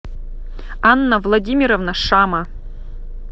анна владимировна шама